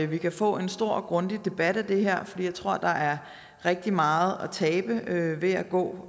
vi kan få en stor og grundig debat om det her fordi jeg tror at der er rigtig meget at tabe ved at gå